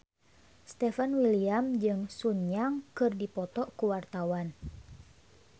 Stefan William jeung Sun Yang keur dipoto ku wartawan